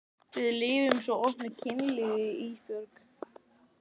Við lifum svo opnu kynlífi Ísbjörg.